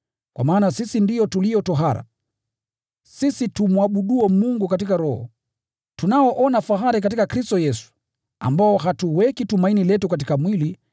Kwa maana sisi ndio tulio tohara, sisi tumwabuduo Mungu katika Roho, tunaona fahari katika Kristo Yesu, ambao hatuweki tumaini letu katika mwili,